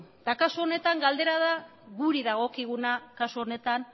eta kasu honetan galdera guri dagokiguna kasu honetan